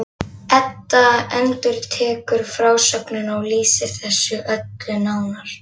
Edda endurtekur frásögnina og lýsir þessu öllu nánar.